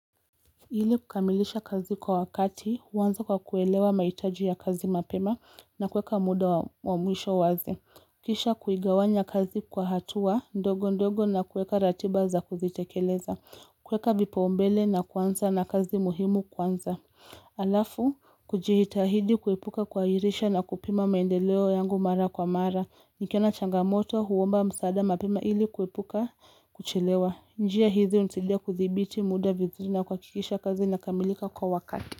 Ili kukamilisha kazi kwa wakati, huanza kwa kuelewa mahitaji ya kazi mapema na kueka muda wa mwisho wazi. Kisha kuigawanya kazi kwa hatua ndogo ndogo na kuweka ratiba za kuzitekeleza. Kuweka vipao mbele na kwanza na kazi muhimu kwanza. Alafu, kujiitahidi kuepuka kuwairisha na kupima maendeleo yangu mara kwa mara. Nikiona changamoto huomba msaada mapema hili kuepuka kuchelewa. Njia hizi hunisaidia kudhibiti muda vizuri na kuhakikisha kazi inakamilika kwa wakati.